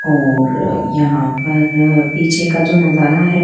और यहां पर अह पीछे का जो नजारा है।